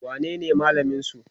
wanene malamin su?